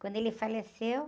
Quando ele faleceu...